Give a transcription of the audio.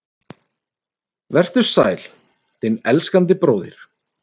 Vertu sæl, þinn elskandi bróðir